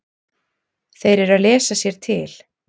Þeir eru að lesa sér til.